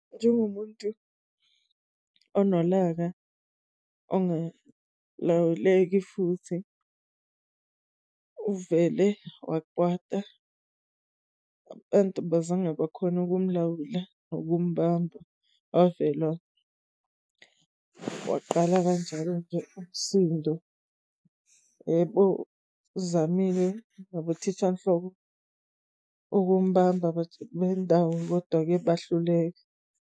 Njengomuntu onolaka ongalawuleki futhi, uvele wakwata abantu bazange bakhona ukumlawula nokumbamba. Wavela waqala kanjalo-ke umsindo. Yebo, uzamile nabothishanhloko ukubamba abantu bendawo, kodwa-ke bahluleka.